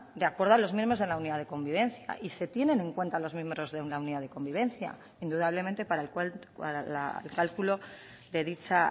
de acuerdo a los miembros de la unidad de convivencia y se tienen en cuenta los miembros de una unidad de convivencia indudablemente para el cálculo de dicha